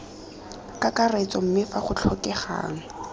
kakaretso mme fa go tlhokegang